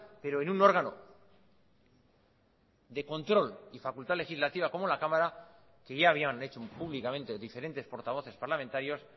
pero en un órgano de control y facultad legislativa como la cámara que ya habían hecho públicamente diferentes portavoces parlamentarios